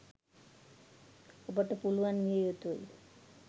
ඔබට පුළුවන් විය යුතුයි.